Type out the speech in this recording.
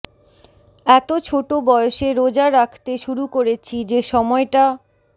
এতো ছোট বয়সে রোজা রাখতে শুরু করেছি যে সময়টা